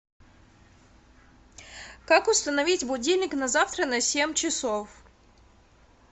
как установить будильник на завтра на семь часов